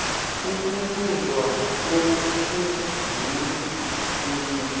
ukuthotjwa komkhumbulo kunye